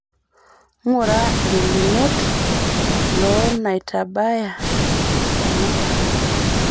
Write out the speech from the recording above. ng'ura ngelunot loo naitabaya tormukaawa